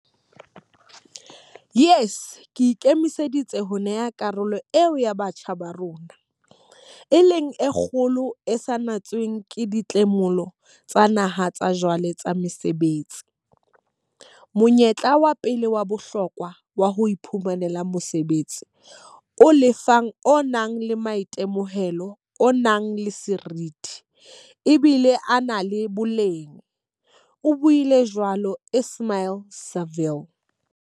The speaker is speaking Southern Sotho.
Yes e ikemiseditse ho neha karolo eo ya batjha ba rona, e leng e kgolo e sa natsweng ke dimotlolo tsa naha tsa jwale tsa mosebetsi, monyetla wa pele wa bohlokwa wa ho iphumanela mosebetsi o lefang o nang le maitemohelo a nang le seriti, ebile a na le boleng, o buile jwalo Ismail-Saville.